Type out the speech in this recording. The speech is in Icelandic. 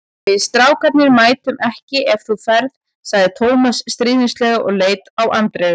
Við strákarnir mætum ekki ef þú ferð sagði Tómas stríðnislega og leit á Andreu.